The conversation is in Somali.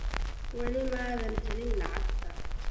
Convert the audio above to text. Wali maadan helin lacagta?